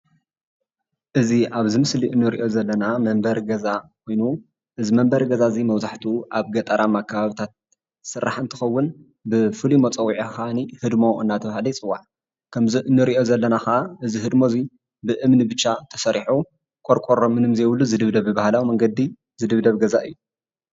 እዚ አብዚ ምስሊ እንሪኦ ዘለና መንበሪ ገዛ ኮይኑ እዚ መንበሪ እዙይ መብዛሕትኡ ገጠራማ ከባቢታት ዝስራሕ እንትከውን ብፍሉይ መፀዊዒ ድማ ህድሞ እናተባህለ ይፅዋዕ ከምዚ እንሪኦ ዘለና ካዓ እዚ ህድሞ እዚ ብእምኒ ብቻ ተሰሪሑ ቆርቆሮ ምንም ዘይብሉ ዝድብደብ ብባህላዊ መንገዲ ዝድብደብ ገዛ እዩ፡፡